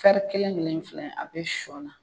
kelen kelen in filɛ a bɛ shɔ la.